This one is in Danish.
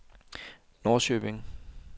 Norrköping